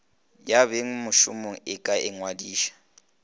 ya bengmešomo e ka ingwadiša